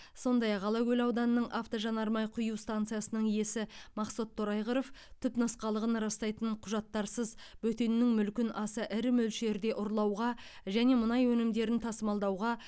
сондай ақ алакөл ауданының автожанармай құю станциясының иесі мақсұт торайғыров түпнұсқалығын растайтын құжаттарсыз бөтеннің мүлкін аса ірі мөлшерде ұрлауға және мұнай өнімдерін тасымалдауға